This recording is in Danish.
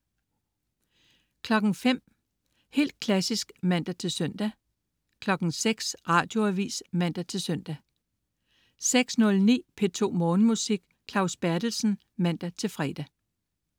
05.00 Helt klassisk (man-søn) 06.00 Radioavis (man-søn) 06.09 P2 Morgenmusik. Claus Berthelsen (man-fre)